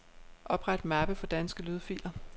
Opret mappe for danske lydfiler.